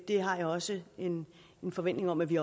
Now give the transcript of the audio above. det har jeg også en forventning om at vi